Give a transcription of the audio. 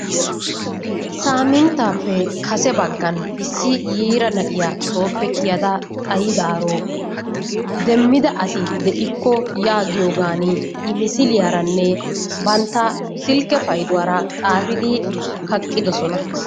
Samintappe kase bagan yiraa na'iyaa soppe kiyada xayidaro demmida asi de'iko giyoganni i misiliyaranne banttaa silke payduwaranne xaafiddi kaqidosonna.